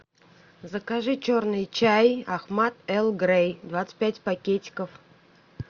закажи черный чай ахмад эрл грей двадцать пять пакетиков